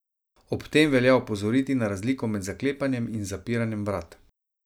Ob tem velja opozoriti na razliko med zaklepanjem in zapiranjem vrat.